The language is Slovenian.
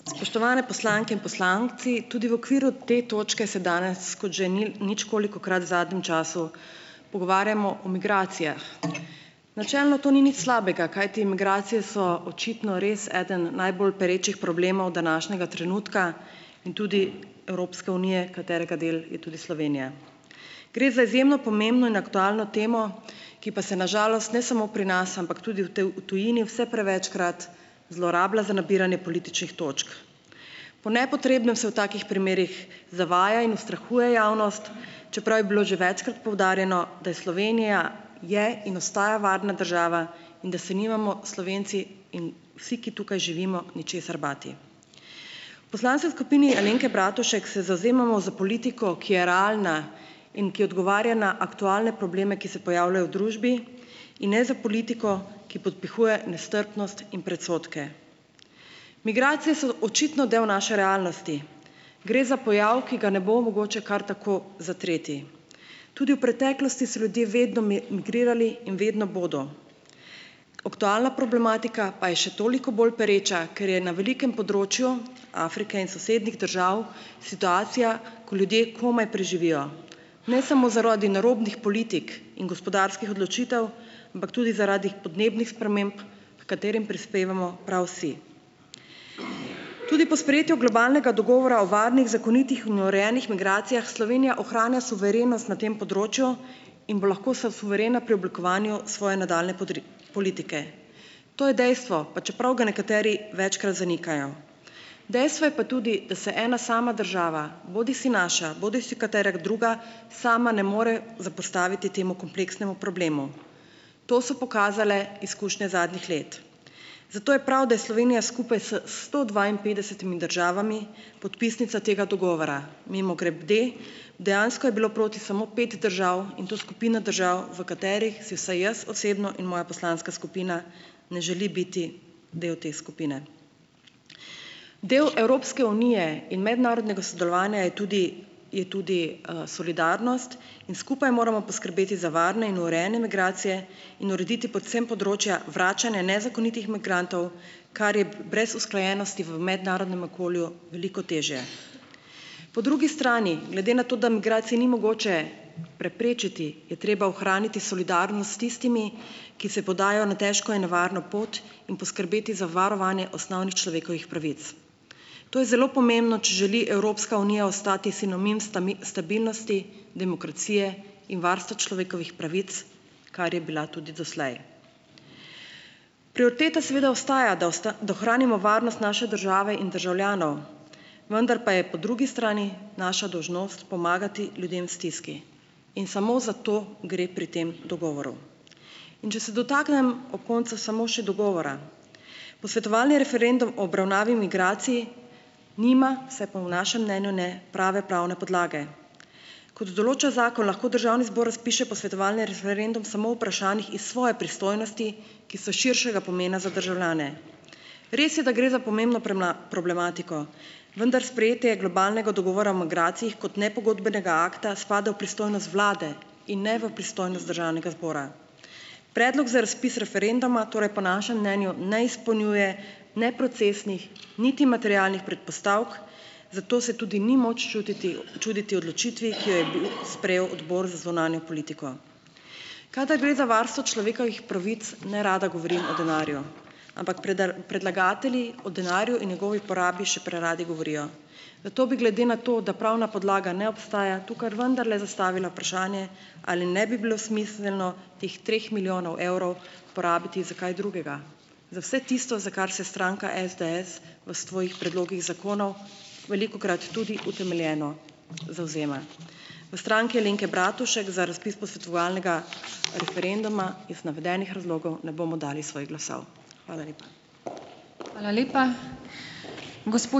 Spoštovane poslanke in poslanci. Tudi v okviru te točke se danes kot že ničkolikokrat v zadnjem času pogovarjamo o migracijah. Načelno to ni nič slabega, kajti migracije so očitno res eden najbolj perečih problemov današnjega trenutka in tudi Evropske unije, katerega del je tudi Slovenija. Gre za izjemno pomembno in aktualno temo, ki pa se na žalost ne samo pri nas, ampak tudi v v tujini vse prevečkrat zlorablja za nabiranje političnih točk. Po nepotrebnem se v takih primerih zavaja in ustrahuje javnost, čeprav je bilo že večkrat poudarjeno, da je Slovenija je in ostaja varna država in da se nimamo Slovenci in vsi, ki tukaj živimo, ničesar bati. V poslanski sk upini Alenke Bratušek se zavzemamo za politiko, ki je realna in ki odgovarja na aktualne probleme, ki se pojavljajo v družbi, in ne s politiko, ki podpihuje nestrpnost in predsodke. Migracije so očitno del naše realnosti. Gre za pojav, ki ga ne bo mogoče kar tako zatreti. Tudi v preteklosti so ljudje vedno migrirali in vedno bodo. Aktualna problematika pa je še toliko bolj pereča, ker je na velikem področju Afrike in sosednjih držav situacija, ko ljudje komaj preživijo, ne samo zaradi narobnih politik in gospodarskih odločitev, ampak tudi zaradi podnebnih sprememb, h katerim prispevamo prav vsi. Tudi po sprejetju globalnega dogovora o varnih, zakonitih in urejenih migracijah Slovenija ohranja suverenost na tem področju in bo lahko suverena pri oblikovanju svoje nadaljnje politike. To je dejstvo, pa čeprav ga nekateri večkrat zanikajo. Dejstvo je pa tudi, da se ena sama država, bodisi naša bodisi katera druga, sama ne more zoperstaviti temu kompleksnemu problemu. To so pokazale izkušnje zadnjih let. Zato je prav, da je Slovenija skupaj s sto dvainpetdesetimi državami podpisnica tega dogovora. Mimogrede, dejansko je bilo proti samo pet držav in to skupina držav, v katerih si vsaj jaz osebno in moja poslanska skupina ne želi biti del te skupine. Del Evropske unije in mednarodnega sodelovanja je tudi je tudi, solidarnost in skupaj moramo poskrbeti za varne in urejene migracije in urediti predvsem področja vračanja nezakonitih migrantov, kar je brez usklajenosti v mednarodnem okolju veliko težje. Po drugi strani glede na to, da migracije ni mogoče preprečiti, je treba ohraniti solidarnost s tistimi, ki se podajo na težko in nevarno pot, in poskrbeti za varovanje osnovnih človekovih pravic. To je zelo pomembno, če želi Evropska unija ostati sinonim stabilnosti, demokracije in varstva človekovih pravic, kar je bila tudi doslej. Prioriteta seveda ostaja, da da ohranimo varnost naše države in državljanov, vendar pa je po drugi strani naša dolžnost pomagati ljudem v stiski in samo za to gre pri tem dogovoru. In če se dotaknem ob koncu samo še dogovora. Posvetovalni referendum o obravnavi migracij nima, vsaj po našem mnenju ne, prave pravne podlage. Kot določa zakon, lahko državni zbor razpiše posvetovalni referendum samo o vprašanjih iz svoje pristojnosti, ki so širšega pomena za državljane. Res je, da gre za pomembno problematiko, vendar sprejetje globalnega dogovora o migracijah kot nepogodbenega akta spada v pristojnost vlade in ne v pristojnost državnega zbora. Predlog za razpis referenduma torej po našem mnenju ne izpolnjuje ne procesnih niti materialnih predpostavk, zato se tudi ni moč čuditi odločitvi, ki jo je bil sprejel odbor za zunanjo politiko. Kadar gre za varstvo človekovih pravic, nerada govorim o denarju, ampak predlagatelji o denarju in njegovi porabi še preradi govorijo, zato bi glede na to, da pravna podlaga ne obstaja, tukaj vendarle zastavila vprašanje, ali ne bi bilo smiselno teh treh milijonov evrov porabiti za kaj drugega, za vse tisto, za kar se stranka SDS v svojih predlogih zakonov velikokrat tudi utemeljeno zavzema. V Stranki Alenke Bratušek za razpis posvetovalnega referenduma iz navedenih razlogov ne bomo dali svojih glasov. Hvala lepa.